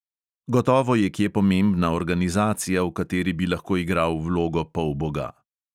Gotovo je kje pomembna organizacija, v kateri bi lahko igral vlogo polboga.